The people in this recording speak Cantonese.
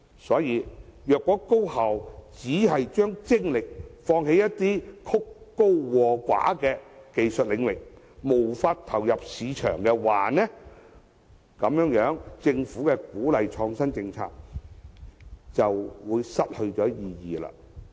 所以，如果高校只把精力放在曲高和寡的技術領域上，無法投入市場，那麼政府鼓勵創新政策便會失去意義。